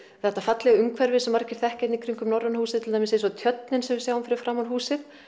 þetta fallega umhverfi sem margir þekkja hérna í kringum Norræna húsið til dæmis eins og tjörnin sem við sjáum fyrir framan húsið